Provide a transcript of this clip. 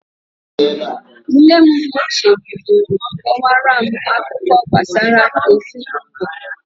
Nne m ochie bidoro kọwara m akụkọ gbasara ezinụlọ.